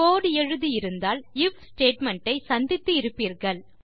கோடு எழுதி இருந்தால் IF statement ஐ சந்தித்து இருப்பீர்கள்